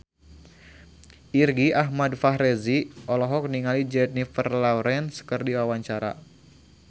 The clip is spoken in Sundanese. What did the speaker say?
Irgi Ahmad Fahrezi olohok ningali Jennifer Lawrence keur diwawancara